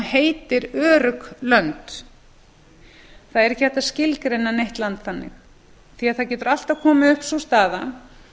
heitir örugg lönd það er ekki hægt að skilgreina neitt land þannig því að það getur alltaf komið upp sú staða